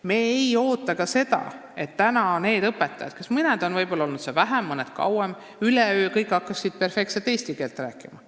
Me ei oota ka seda, et õpetajad, kellest mõned on tööl olnud vähem, mõned kauem, hakkaksid kõik üleöö perfektselt eesti keelt rääkima.